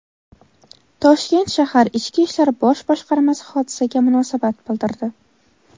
Toshkent shahar Ichki ishlar bosh boshqarmasi hodisaga munosabat bildirdi.